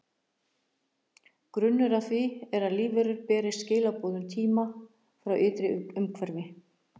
Grunnur að því er að lífverum berist skilaboð um tíma frá ytra umhverfi.